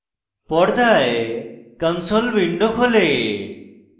পর্দায় console window খোলে